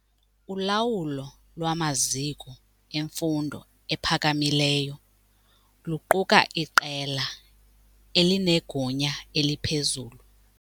Ulawulo lwamaziko emfundo ephakamileyo luquka iqela elinegunya eliphezulu.